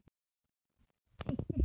Hristir mig.